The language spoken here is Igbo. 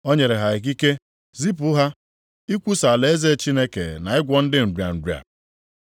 O nyere ha ikike, zipụ ha ikwusa alaeze Chineke na ịgwọ ndị nrịa nrịa.